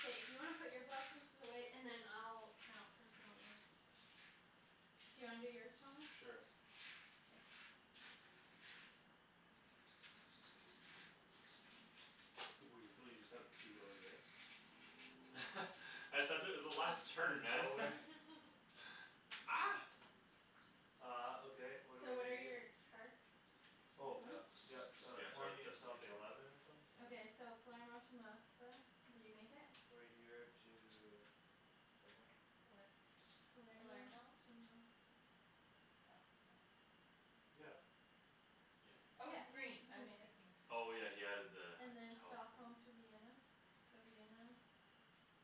K. If you wanna put your block pieces away, and then I'll count for someone else. Do you wanna do yours, Thomas? Sure. Yeah. Weasel, you just have two out here? I said it was the Out last outta turn, man. nowhere Ah. Uh, okay, what what are So we what are gonna do? your cards? These Oh, yup. ones? Yup, uh, Yeah, start with twenty and something destinations. eleven or something? I don't Okay, so know. Palermo to Moskva, did you make it? Right here to Somewhere Where? Palermo Palermo? to Moskva Oh, no. Yeah. Yeah, he Oh, Oh, made he's he's it. green green. I I was mean. thinking blu- Oh, yeah, he had added the And then house there. Stockholm to Vienna, so Vienna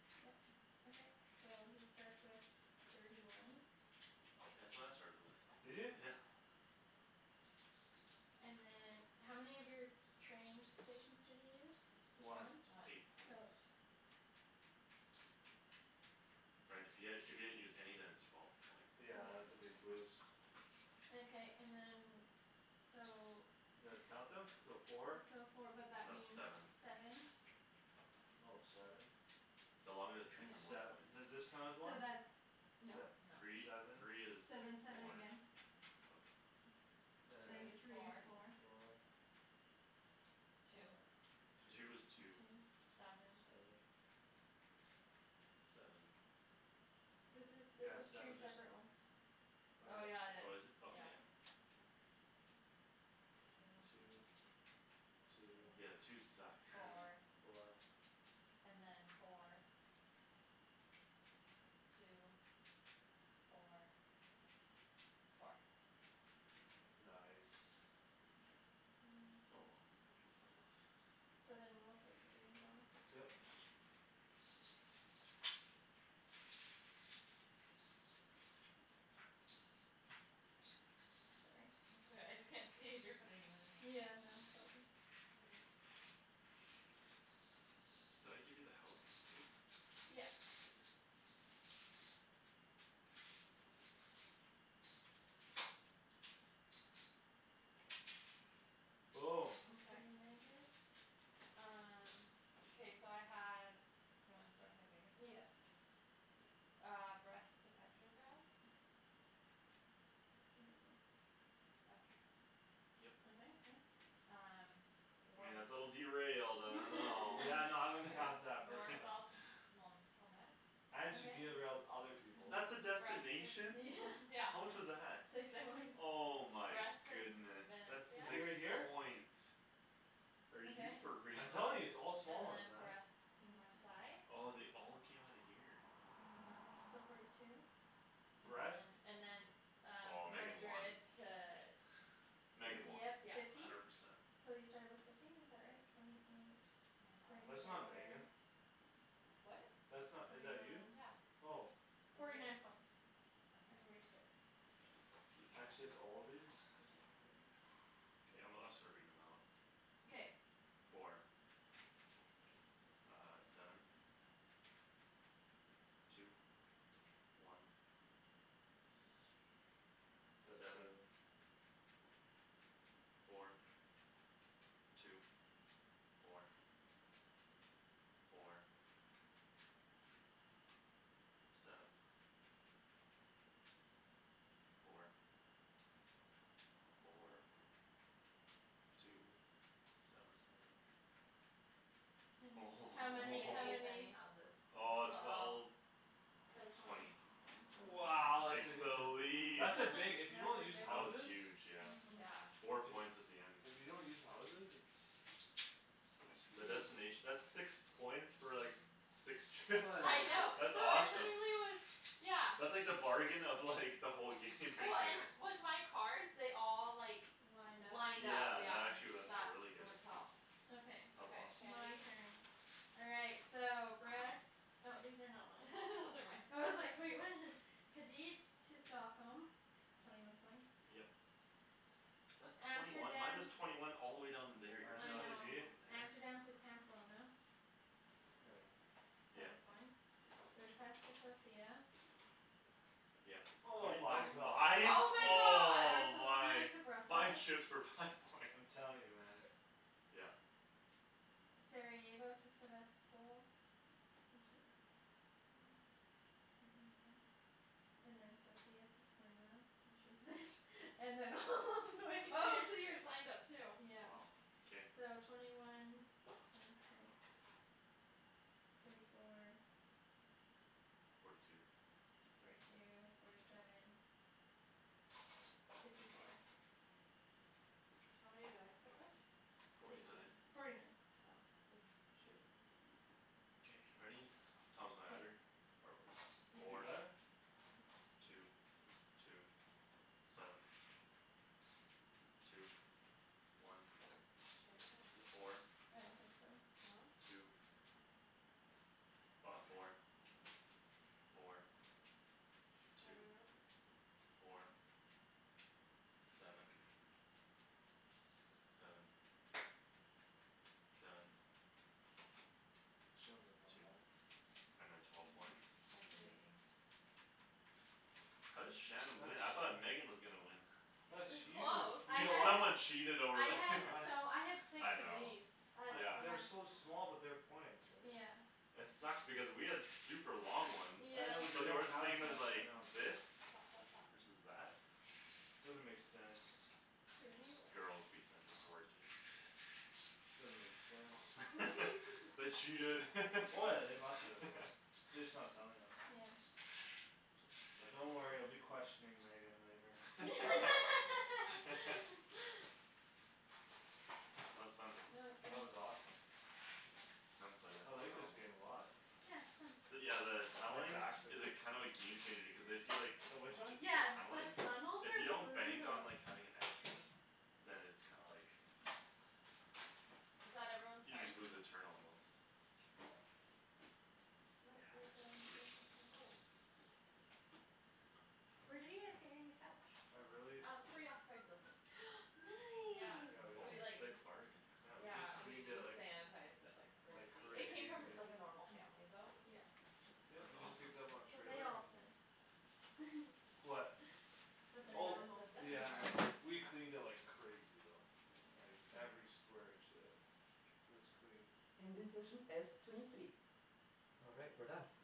Yeah. Okay. So he starts with thirty one Yeah, that's what I started with, Did you? yeah And then How many of your train stations did you use? One. Just One. eight So. points. Right if you had if you hadn't used any then it's twelve points Yeah, that's a big boost. Okay, and then so You know how to count them? So four? So four but that That's means seven seven Oh, seven? The longer the train Then the Yeah. more sev- points. does this count as So one? that's No. Se- No. Three, seven three is So then seven four again Okay. And Three is is four four. Four Two Uh, Two two. is two Two Seven Seven Seven This is, this Yeah, is seven two just separate ones. Oh, Oh, yeah yeah, it is, Oh, is it? Okay, yeah yeah. Two Two Two Two Two Yeah, twos suck Four, Four four. And then four Two, four Four Nice. Okay, so ninety two. Oh, my piece fell off. So then we'll take the green Yeah. Mhm. Sorry. It's all right. I just can't see if you're putting them in or not. Yeah, no Did I give you the house too? Yeah. Okay. Okay, Okay. Memphis. Um. Okay, so I had Do you want to start with my biggest Yeah. one? Ah, Brest to Petrograd I don't know where Petrograd is. Up here. Okay, Yup. yep. Um. I mean War- that's a little derailed. I don't know Yeah, no I wouldn't War- count that personally. Warsaw to And she Okay. derails other people. That's a Twenty six destination? Yeah. Yeah How much was that? Six Six Oh my Brest to V- goodness. Venice, That's To yeah. six here here? points. Are you Okay. for real? I'm telling you, it's all And small ones then then. Brest to Twenty six Marsail Oh, they all came outta here? uh-huh. So forty two. And then Brest. and then Um, Oh, Megan won. Madrid to Di- Megan won Dieppe Yeah. fifty hundred percent. So you started with fifty is that right? Twenty, twenty eight That's not Megan. What? That's not? Twenty Is one that you? Yeah. Oh. Forty night points T- is where okay you started Blue blue And she's chips all these? Okay, I'm gonna I'll start reading them out Okay. Four. Ah, seven, two, one That's Seven, seven. four, two, four, four Seven, four, Four four, two, Two seven Seven How I many? How didn't use many? any houses Oh, so twelve twelve So twenty Twenty One twenty Wow. Takes the lead. That's a big if you don't use That was houses huge, yeah. uh-huh. Yeah. Four points at the end If you don't use houses it's The It's huge. destination that's six points for like Six trip. Yeah, I know, That's no, awesome. literally it was, yeah That's like the bargain of like the whole game Oh, and with my cards they all like Lined up Lined up, Yeah, that yeah actually wen- That really good what helps Okay, That was Okay, awesome. my Shandy. turn. All right, so Brest Oh, these are not mine Those are mine. I was like, "Wait, what?" Kadeets to Stockholm Twenty one points Yep. That's twenty one Amsterdam Minus twenty one all the way down in there I I know, know. see? Amsterdam to Pamplona Here we are. Seven Yep, points yeah. Budapest to Sofia Yeah Hol- Oh that my was points god. five, Oh my god. oh Barcelona my Five to shooks Brussels for five points I'm telling you, man. Yeah. Sarajevo to Sevastpol Which is hmm Sarajevo And then Sofia to Smyrna Which is this And then all the way Oh, so here yours lined up too? Wow, Yeah. k. So twenty one Twenty six Thirty four Forty two Forty two, forty seven Fifty four How many did I start with? Forty nine Forty nine Okay. Oh, shoot. K, ready? Thomas, wanna add her? Or whatever. Yeah. You Four got it? Two, two, seven, two, one, Shandy might beat me four, I don't think so. No? two Ah, four, four, Do I have two, everyone's tickets? four, seven, s- seven, seven She only have one Two left. And then twelve points Mhm. Shandon beat Yeah. me How did Shan That's win? I thought Megan was gonna win. It That's was huge. I close. You You know had what? someone cheated I over had here He- I so I had six I of know these. That's yeah I've they're yeah so small but they're points right? Yeah. It sucked because we had super long ones I know but they But Yeah. they don't were the count as same much, as I like know. this Stop, stop, stop. Versus that Doesn't make sense. Thirty one Girls beating us at board games. Doesn't make sense. They cheated. Oh, yeah, they must have, yeah. They just not telling us. Yeah. That's Don't worry I'll hilarious. be questioning Megan later. That was fun. That That was good. was awesome. I haven't played that I in a like this while. game a lot. Yeah, But it's fun. yeah the My Tunneling back's like is a kinda of a game changer cuz if you like The which one? T- Yeah, tunneling the tunnels If you are don't bank on brutal. like having an extra Then it's kinda like Is that everyone's You cards? just lose a turn almost Nope, there's a there's Yeah. a this Oh. Where did you guys get your new couch? I really Um, free off Craigslist. Yeah. Yeah, Nice. we c- Oh, We like sick bargain. Yeah, we just Yeah, we cleaned it we like sanitized it like Like crazy. It came crazy from like a normal family though. Yeah. Yeah, That's we just awesome. picked up on trailer. Yeah. What? That they're That Oh, that normal. that they're yeah, I know. normal. We cleaned it like crazy though. Like Yeah. Yeah. every square inch, uh Was cleaned.